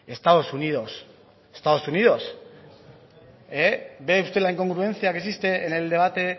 estados unidos estados unidos ve usted la incongruencia que existe en el debate